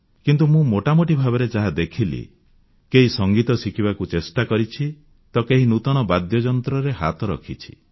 କିନ୍ତୁ ମୁଁ ମୋଟାମୋଟି ଭାବରେ ଯାହା ଦେଖିଲି କେହି ସଙ୍ଗୀତ ଶିଖିବାକୁ ଚେଷ୍ଟା କରିଛି ତ କେହି ନୂତନ ବାଦ୍ୟଯନ୍ତ୍ରରେ ହାତ ରଖିଛି